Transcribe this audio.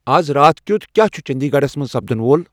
از راتھ کِیُتھ کیا چُھ چندی گڑس منز سپدن وۄل ؟